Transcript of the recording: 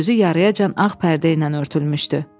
Bir gözü yarıyacan ağ pərdə ilə örtülmüşdü.